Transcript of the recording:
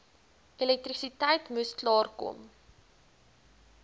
elektrisiteit moes klaarkom